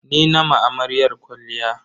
Ni na ma amaryar kwalliya.